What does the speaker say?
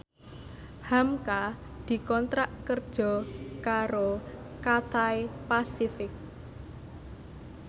hamka dikontrak kerja karo Cathay Pacific